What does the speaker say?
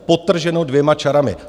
Podtrženo dvěma čarami.